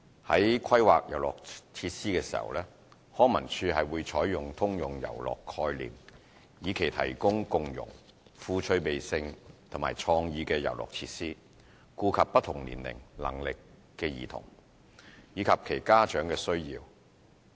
在規劃遊樂設施時，康文署採用"通用遊樂"概念，以期提供共融、富趣味性和創意的遊樂設施，顧及不同年齡、能力的兒童，以及其家長的需要。